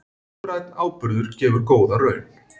Lífrænn áburður gefur góða raun